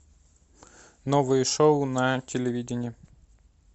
новые шоу на телевидении